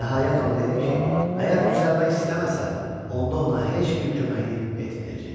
Nəhayət, ona dedi ki, əgər düzəlmək istəməsə, onda ona heç bir köməklik etməyəcək.